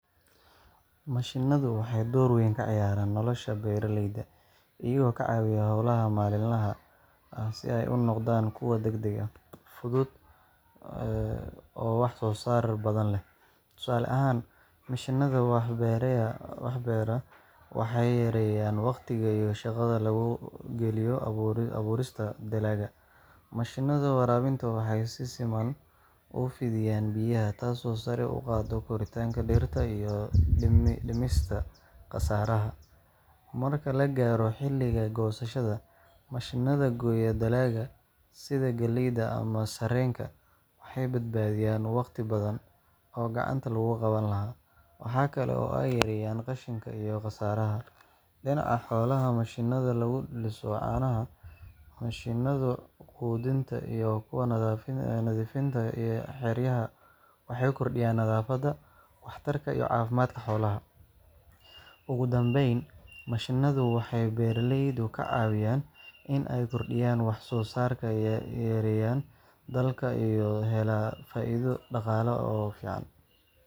Mashiinnadu waxay door weyn ka ciyaaraan nolosha beeraleyda, iyagoo ka caawiya hawlaha maalinlaha ah si ay u noqdaan kuwo degdeg ah, fudud, oo wax-soo-saar badan leh. Tusaale ahaan, mishiinnada wax beeraya waxay yareeyaan waqtiga iyo shaqada lagu geliyo abuurista dalagga. Mashiinnada waraabinta waxay si siman u fidiyaan biyaha, taasoo sare u qaadda koritaanka dhirta iyo dhimista khasaaraha. Marka la gaaro xilliga goosashada, mashiinnada gooya dalagga sida galleyda ama sarreenka waxay badbaadiyaan waqti badan oo gacanta lagu qaban lahaa. Waxa kale oo ay yareeyaan qashinka iyo khasaaraha. Dhinaca xoolaha, mashiinnada lagu liso caanaha, mishiinnada quudinta, iyo kuwa nadiifinta xeryaha waxay kordhiyaan nadaafadda, waxtarka, iyo caafimaadka xoolaha. Ugu dambayn, mashiinnadu waxay beeraleyda ka caawiyaan in ay kordhiyaan wax-soo-saarkooda, yareeyaan daalka, oo ay helaan faa’iido dhaqaale oo fiican.